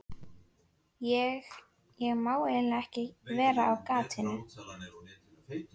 Ég, ég má eiginlega ekki vera á gatinu.